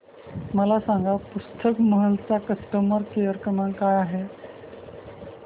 मला सांगा पुस्तक महल चा कस्टमर केअर क्रमांक काय आहे